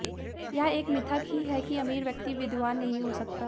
यह एक मिथक ही है कि अमीर व्यक्ति विद्वान नहीं हो सकता